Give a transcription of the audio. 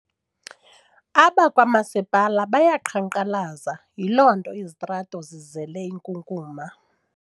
Abakwamasipala bayaqhankqalaza yiloonto izitrato zizele inkunkuma.